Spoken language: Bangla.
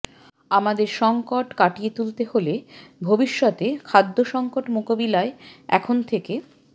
আমাদের সংকট কাটিয়ে তুলতে হলে ভবিষ্যতে খাদ্যসঙ্কট মোকাবিলায় এখন থেকে